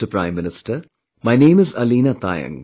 Prime Minister, my name is Aleena Taayang